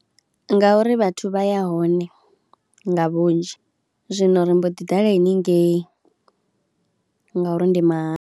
Ngauri vhathu vha ya hone nga vhunzhi zwino ri mbo ḓi ḓala haningei ngauri ndi mahala.